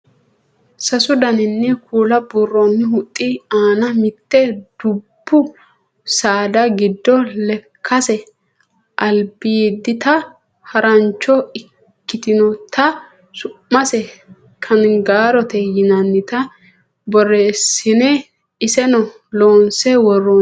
sasu dani kuula buurroonni huxxi aana mitte dubbu saada giddo lekkase albiidita harancho ikitinota su'mase kangaarote yinannita borreessine iseno loonse worroonnite yaate